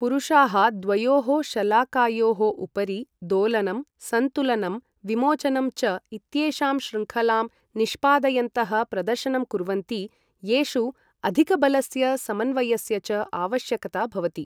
पुरुषाः द्वयोः शलाकायोः उपरि दोलनम्, संतुलनम्, विमोचनं च इत्येषां शृङ्खलां निष्पादयन्तः प्रदर्शनं कुर्वन्ति येषु अधिकबलस्य समन्वयस्य च आवश्यकता भवति ।